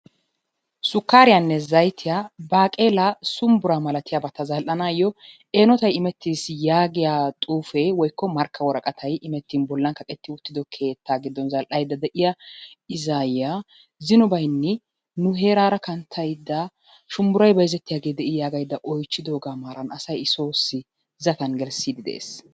sukkariyanne zayitiyaa baaqeelaa, sumbburaa malatiyaabata zal"anaayyoo eenotay imettis yaagiyaa xuufee woyikko markka woraqatayi imettin bollan kaqetti uttido keettaa giddon zal"ayidda de'iyaa issi aayyiya zino bayinni nu heeraara kanttayidda "shunbburayi bayizettiyaagee de"ii?" yaagyidda oyichchidoogaa maaran asay i soossi zatan gelissiiddi de"ees.